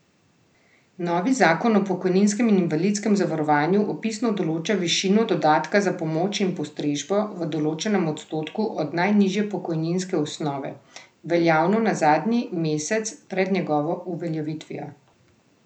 Novi zakon o pokojninskem in invalidskem zavarovanju opisno določa višino dodatka za pomoč in postrežbo v določenem odstotku od najnižje pokojninske osnove, veljavne za zadnji mesec pred njegovo uveljavitvijo.